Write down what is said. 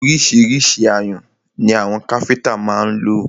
Ọríṣiríṣi ayùn ni àwọn káfíńńtà má ń lò.